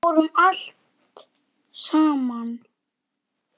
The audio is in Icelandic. Við fórum allt saman.